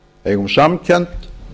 eigum samkennd